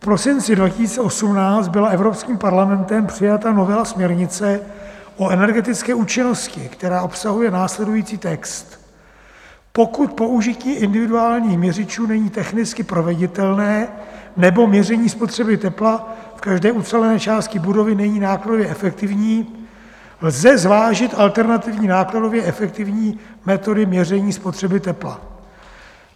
V prosinci 2018 byla Evropským parlamentem přijata novela směrnice o energetické účinnosti, která obsahuje následující text: "Pokud použití individuálních měřičů není technicky proveditelné nebo měření spotřeby tepla v každé ucelené části budovy není nákladově efektivní, lze zvážit alternativní nákladově efektivní metody měření spotřeba tepla.